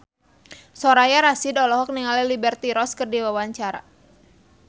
Soraya Rasyid olohok ningali Liberty Ross keur diwawancara